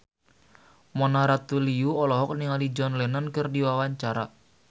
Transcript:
Mona Ratuliu olohok ningali John Lennon keur diwawancara